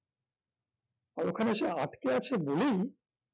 আর ওখানে এসে আটকে আছে বলেই